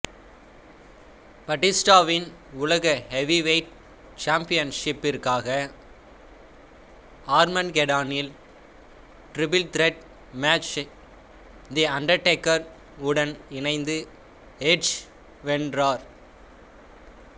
பாடிஸ்டாவின் உலக ஹெவிவெயிட் சாம்பியன்ஷிப்பிற்காக ஆர்மகெடானில் டிரிபிள் திரட் மேட்சை தி அன்டர்டேகர் உடன் இணைந்து எட்ஜ் வென்றார்